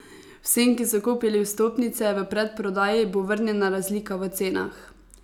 Vsem, ki so kupili vstopnice v predprodaji, bo vrnjena razlika v cenah.